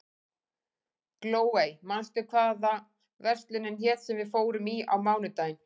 Glóey, manstu hvað verslunin hét sem við fórum í á mánudaginn?